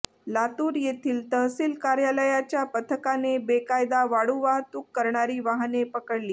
लातूर येथील तहसील कार्यालयाच्या पथकाने बेकायदा वाळू वाहतूक करणारी वाहने पकडली